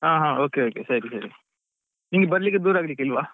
ಹ ಹಾ okay okay ಸರಿ ಸರಿ ನಿಮ್ಗೆ ಬರ್ಲಿಕ್ಕೆ ದೂರ ಆಗ್ಲಿಕ್ಕೆ ಇಲ್ವಾ.